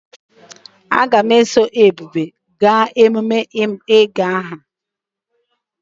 Aga m eso Ebube gaa emume ịgụ aha ahụ.